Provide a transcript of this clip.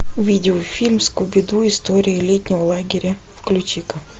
видеофильм скуби ду история летнего лагеря включи ка